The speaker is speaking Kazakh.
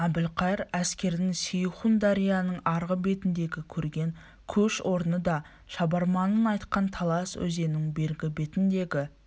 әбілқайыр әскерінің сейхун дарияның арғы бетіндегі көрген көш орны да шабарманның айтқан талас өзенінің бергі бетіндегі